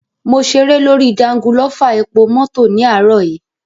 Mo ṣeré lórí jangulọ́fà epomọ́tọ̀ ní àárò yìí.